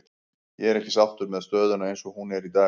Ég er ekki sáttur með stöðuna eins og hún er í dag.